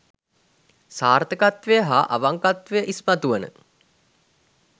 සාර්ථකත්වය හා අවංකත්වය ඉස්මතු වන